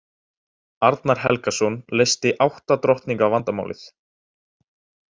Arnar Helgason leysti átta drottninga vandamálið.